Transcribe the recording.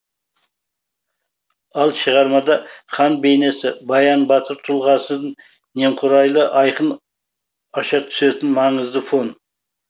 ал шығармада хан бейнесі баян батыр тұлғасын немқұрайлы айқын аша түсетін маңызды фон